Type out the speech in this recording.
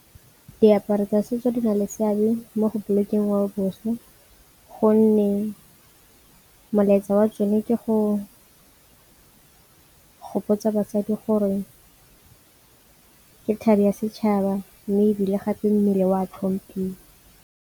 Diaparo tsa setso di na le seabe mo go bolokeng ngwao boswa gonne molaetsa wa tsone ke go gopotsa basadi gore ke thebe ya setšhaba, mme ebile gape mmele o a tlhompiwa.